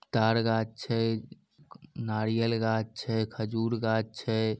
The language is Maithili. तार गाछ छै नारियल गाछ छै खजूर गाछ छै।